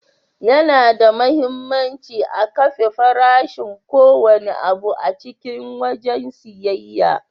Yana da muhimmanci a kafe farashin ko wanne abu a cikin wajen siyayya.